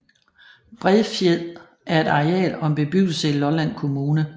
Bredfjed er et areal og en bebyggelse i Lolland Kommune